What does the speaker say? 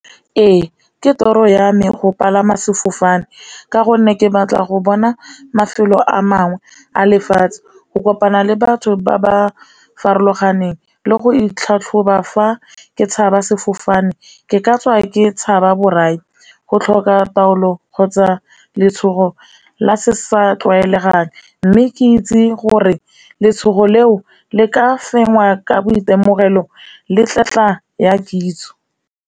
Ee, ke toro ya me go palama sefofane ka gonne ke batla go bona mafelo a mangwe a lefatshe, go kopana le batho ba ba farologaneng, le go itlhatlhoba fa ke tshabe sefofane, ke ka tswa ke tshaba borai, go tlhoka taolo kgotsa letshogo la se sa tlwaelegang. Mme ke itse gore letshogo leo le ka fengwa ka boitemogelo le tletla ya kitso.